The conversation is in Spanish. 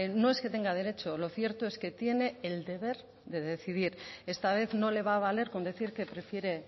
no es que tenga derecho lo cierto es que tiene el deber de decidir esta vez no le va a valer con decir que prefiere